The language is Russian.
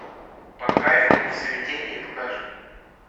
под кайфом и в смятении покажи